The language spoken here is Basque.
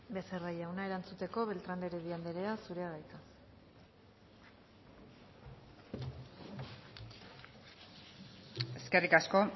becerra jauna erantzuteko beltrán de heredia andrea zurea da hitza eskerrik asko